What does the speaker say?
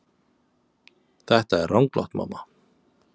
Þetta er ranglátt mamma.